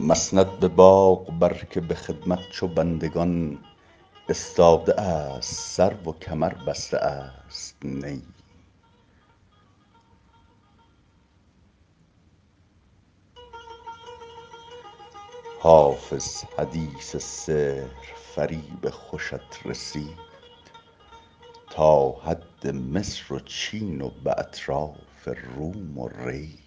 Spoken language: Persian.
مسند به باغ بر که به خدمت چو بندگان استاده است سرو و کمر بسته است نی حافظ حدیث سحرفریب خوشت رسید تا حد مصر و چین و به اطراف روم و ری